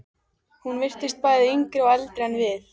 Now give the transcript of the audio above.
Hún virtist bæði yngri og eldri en við.